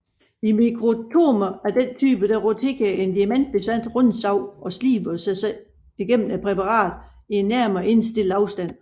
I mikrotomer af denne type roterer en diamantbesat rundsav og sliber sig gennem præparatet i en nærmere indstillet afstand